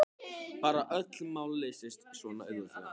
Bara að öll mál leystust svona auðveldlega.